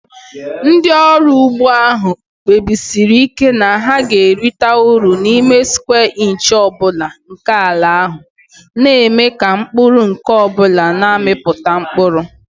Ndị ọrụ ugbo ahụ kpebisiri ike na ha ga-erite uru n'ime square inch ọ bụla nke ala ha, na-eme ka mkpụrụ nke ọ bụla na-amịpụta mkpụrụ.